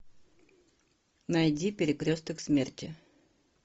найди перекресток смерти